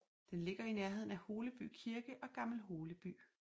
Den ligger i nærheden af Holeby Kirke og Gammel Holeby